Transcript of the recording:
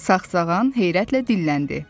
Sağsağan heyrətlə dilləndi.